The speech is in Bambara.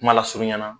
Kuma lasurunya na